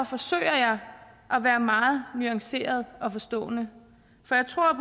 forsøger jeg at være meget nuanceret og forstående